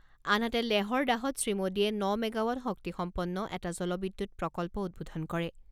আনহাতে, লেহৰ ডাহত শ্ৰীমোডীয়ে ন মেগাৱাট শক্তিসম্পন্ন এটা জলবিদ্যুৎ প্ৰকল্প উদ্বোধন কৰে।